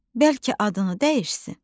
Bəlkə adını dəyişsin?